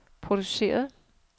produceret